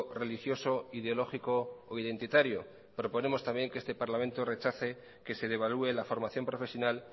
religioso ideológico o identitario proponemos también que este parlamento rechace que se devalúe la formación profesional